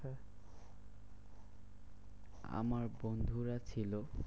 আমার বন্ধুরা ছিল।